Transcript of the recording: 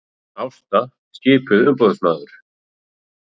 Ásta skipuð umboðsmaður